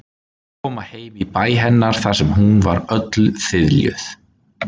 Koma heim í bæ hennar þar sem hús voru öll þiljuð.